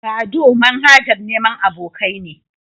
Badoo manhajar neman abokai ne.